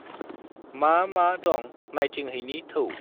मा मा दं नायथिंहैनि थौ।